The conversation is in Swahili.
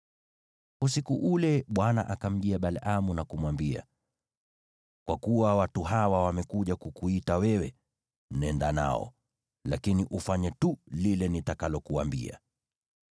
Usiku ule Bwana akamjia Balaamu na kumwambia, “Kwa kuwa watu hawa wamekuja kukuita wewe, nenda nao, lakini ufanye tu lile nitakalokuambia.”